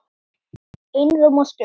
Einróma stutt.